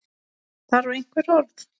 Þarf einhver orð?